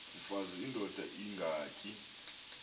mfaz indod ingaty